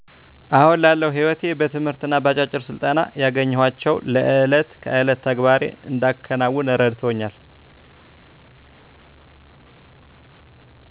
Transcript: አሁን ላለው ሕይወቴ በትምህርትና በአጫጭር ስልጠና ያገኘኋቸው ለዕለት ከዕለት ተግባሬን እንዳከናውን እረድተውኛል